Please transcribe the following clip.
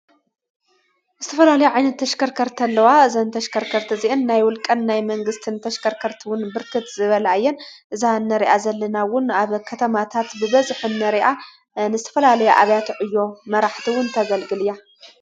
ዝትፈላልያ ዓይነት ተሽከርከርቲ ኣለዋ እዘን ተሽከርከርቲ እዚኢን ናይ ወልቀን ናይ መንግሥቲ ን ተሽከርከርትውን ብርክት ዝበላኣየን እዛነርኣ ዘለናውን ኣብ ኸተማታት ብበዝሒ ንርኣ ንዝተፈላልያ ኣብያት ዕዮ መራሕትውን ተገልግል እያ።